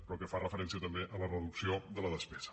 però que fa referència també a la reducció de la despesa